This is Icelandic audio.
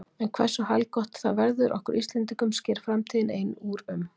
En hversu haldgott það verður okkur Íslendingum sker framtíðin ein úr um.